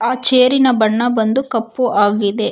ಚೇರಿನ ಬಣ್ಣ ಬಂದು ಕಪ್ಪು ಆಗಿದೆ.